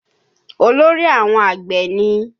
Olórí àwọn àgbẹ̀ ni?